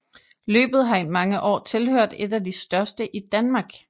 Løbet har i mange år tilhørt et af de største i Danmark